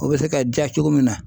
O bɛ se ka ja cogo min na